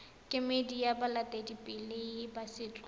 kemedi ya baeteledipele ba setso